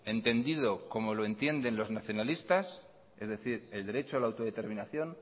entendido como lo entienden los nacionalistas es decir el derecho a la autodeterminación